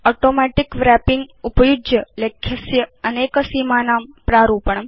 automatic wrapping उपयुज्य लेख्यस्य अनेक सीमानां प्रारूपणम्